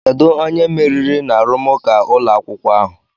Kedu onye meriri n'arụmụka ụlọ akwụkwọ ahụ?